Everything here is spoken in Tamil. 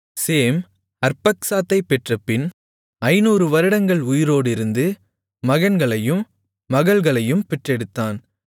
சேம் அர்பக்சாத்தைப் பெற்றபின் 500 வருடங்கள் உயிரோடிருந்து மகன்களையும் மகள்களையும் பெற்றெடுத்தான்